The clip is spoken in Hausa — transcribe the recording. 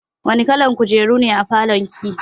Wani kalan kujeru ne a falon ki?